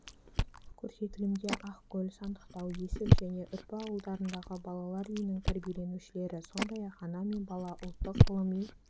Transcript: көрсетілімге ақкөл сандықтау есіл және үрпі ауылдарындағы балалар үйінің тәрбиеленушілері сондай-ақ ана мен бала ұлттық ғылыми